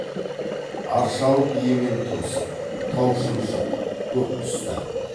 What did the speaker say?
аршалық ементұмсық тау шымшық көкқұс тән